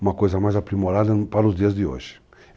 Uma coisa mais aprimorada para os dias de hoje.